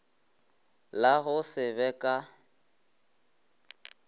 la go se be ka